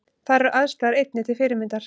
Þar eru aðstæður einnig til fyrirmyndar